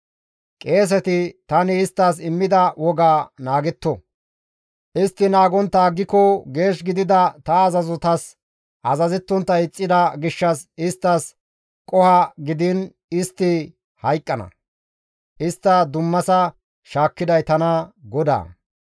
« ‹Qeeseti tani isttas immida wogaa naagetto; istti naagontta aggiko geesh gidida ta azazotas azazettontta ixxida gishshas isttas qoho gidiin istti hayqqana; istta dummasa shaakkiday tana GODAA.